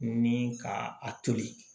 Ni ka a toli